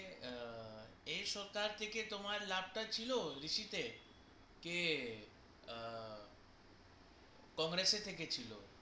আ এই সরকার থেকে তোমার লাভ তা ছিল রিসিতে কে আ congress য়ে থেকে ছিল